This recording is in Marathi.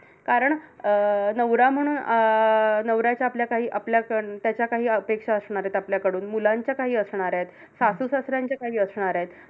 कारण अं नवरा म्हणून अं नवऱ्याच्या आपल्या काही आपल्याकडं त्याच्या काही अपेक्षा असणार आहेत आपल्याकडून. मुलांच्या काही असणार आहेत. सासू-सासऱ्यांच्या काही असणार आहेत